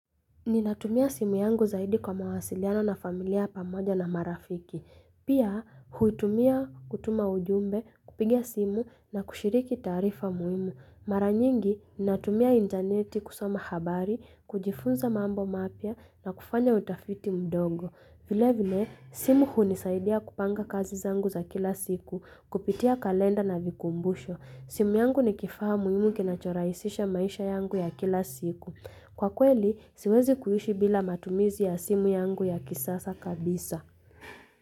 Ninatumia simu yangu zaidi kwa mawasiliano na familia pamoja na marafiki. Pia, huitumia kutuma ujumbe, kupigia simu na kushiriki tarifa muimu. Mara nyingi, ninatumia interneti kusoma habari, kujifunza mambo mapya na kufanya utafiti mdogo. Vile vile, simu hunisaidia kupanga kazi zangu za kila siku, kupitia kalenda na vikumbusho. Simu yangu ni kifahamu muhimu na choraisisha maisha yangu ya kila siku. Kwa kweli, siwezi kuyushi bila matumizi ya simu yangu ya kisasa kabisa.